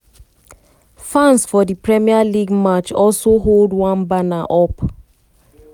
fans for di premier league match also hold one banner up